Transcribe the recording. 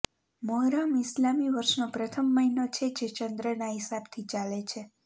મોહર્રમ ઈસ્લામી વર્ષનો પ્રથમ મહિનો છે જે ચંદ્રના હિસાબથી ચાલે છે